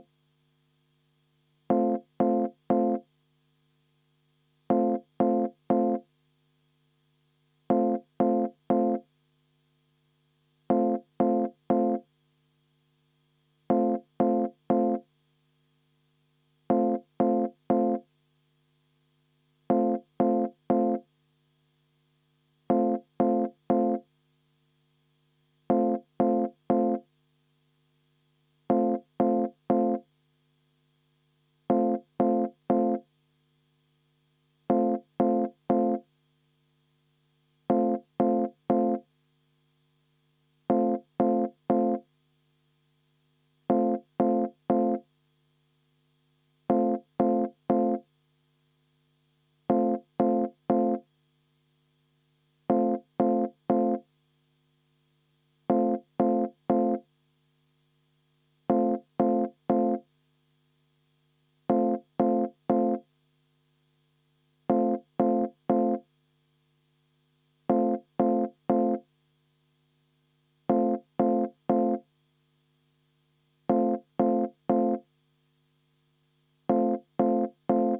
V a h e a e g